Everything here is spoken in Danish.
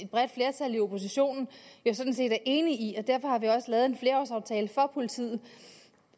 bredt flertal i oppositionen sådan set er enige i derfor har vi også lavet en flerårsaftale for politiet